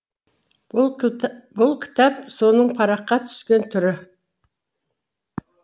бұл кітап соның параққа түскен түрі